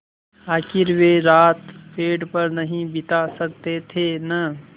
आखिर वे रात पेड़ पर नहीं बिता सकते थे न